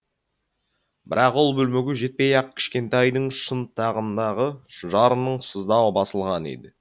бірақ ол бөлмеге жетпей ақ кішкентайдың шынтағындағы жараның сыздауы басылған еді